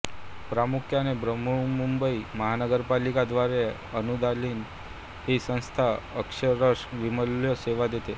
प्रामुख्याने बृहन्मुंबई महानगरपालिका द्वारे अनुदानीत ही संस्था अक्षरशः विनामूल्य सेवा देते